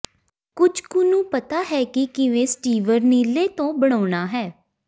ਕੁਝ ਕੁ ਨੂੰ ਪਤਾ ਹੈ ਕਿ ਕਿਵੇਂ ਸਟੀਵਰ ਨੀਲੇ ਤੋਂ ਬਣਾਉਣਾ ਹੈ